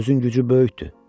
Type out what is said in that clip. Sözün gücü böyükdür.